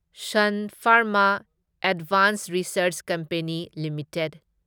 sun Pharma Advanced Research Company limited